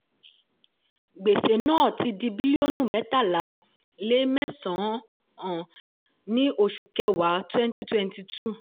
gbèsè náà ti di bílíọ̀nù mẹ́tàlá lé mẹ́sàn-án ní oṣù kẹwàá twenty twenty two.